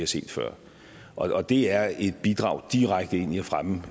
set før og det er et bidrag direkte ind i at fremme